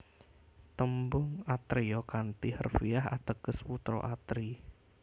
Tembung atreya kanthi harfiah ateges putra Atri